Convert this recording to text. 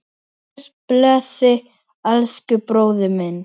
Guð blessi elsku bróður minn.